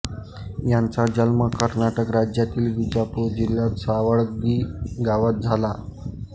यांचा जन्म कर्नाटक राज्यातील विजापुर जिल्ह्यात सावळगी गावात झाला